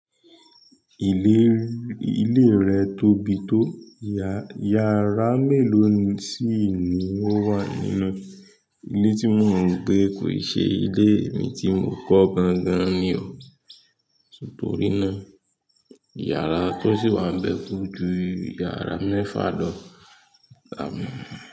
Ilé, ilé rẹ̀ tóbi tó, yàrá mélòó síì ní ó wà nínú ilé tí mo mọ̀ pé kò i ṣe ilé mi tí mo kọ́ gan-gan ni o. Nítorí náà, yàrá tó sì wá ń bẹ́ koju yàrá mẹ́fà lọ àmọ́.